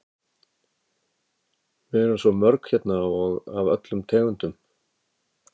Við erum orðin svo mörg hérna og af öllum tegundum.